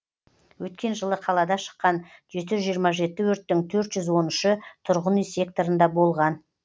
өткен жылы қалада шыққан жеті жүз жиырма жеті өрттің төрт жүз он үші тұрғын үй секторында болған